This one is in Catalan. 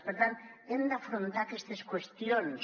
per tant hem d’afrontar aquestes qüestions